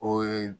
O ye